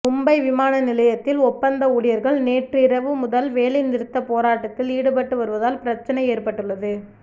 மும்பை விமான நிலையத்தில் ஒப்பந்த ஊழியர்கள் நேற்றிரவு முதல் வேலை நிறுத்த போராட்டத்தில் ஈடுபட்டு வருவதால் பிரச்னை ஏற்பட்டுள்ளது